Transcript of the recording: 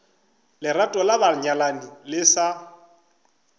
lerato la banyalani le sa